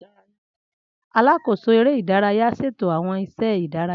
Alákóso eré ìdárayá ṣètò àwọn iṣẹ́ ìdárayá